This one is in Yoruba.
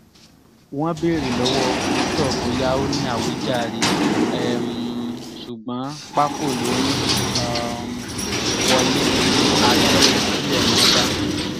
wọ́n béèrè lọ́wọ́ victor bóyá ó ní àwíjàre um ṣùgbọ́n pákò ló ń um wọlé bíi aṣẹ́wó tilẹ̀ mọ́ bá